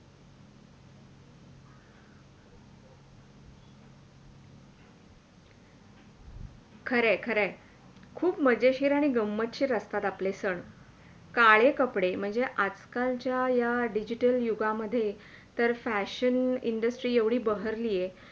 खरं आहे खरं आहे! खूप मजेशीर आणि गम्मतशीर असतात आपले सण काळे कपडे म्हणजे आज - कालच्या या Digital युगामध्ये तर Fashion Industry येवडी बहरली आहे.